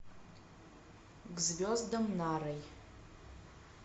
к звездам нарой